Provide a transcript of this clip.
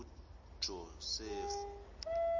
ujosefu